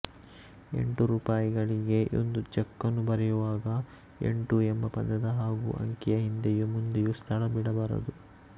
ಎಂಟು ರೂಪಾಯಿಗಳಿಗೆ ಒಂದು ಚೆಕ್ಕನ್ನು ಬರೆಯುವಾಗ ಎಂಟು ಎಂಬ ಪದದ ಹಾಗೂ ಅಂಕಿಯ ಹಿಂದೆಯೂ ಮುಂದೆಯೂ ಸ್ಥಳ ಬಿಡಬಾರದು